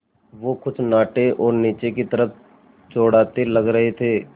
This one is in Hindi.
वो कुछ नाटे और नीचे की तरफ़ चौड़ाते लग रहे थे